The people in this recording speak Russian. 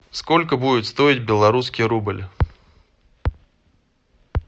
сколько будет стоить белорусский рубль